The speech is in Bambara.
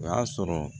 O y'a sɔrɔ